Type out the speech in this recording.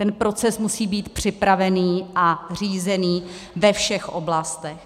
Ten proces musí být připravený a řízený ve všech oblastech.